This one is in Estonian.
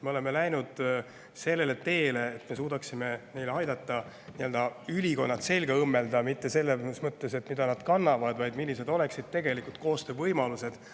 Me oleme läinud sellele teele, et me suudaksime aidata neil nii-öelda ülikond selga õmmelda – mitte selles mõttes, mida nad kannavad, vaid selles mõttes, millised oleksid tegelikult koostöövõimalused.